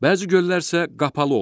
Bəzi göllər isə qapalı olur.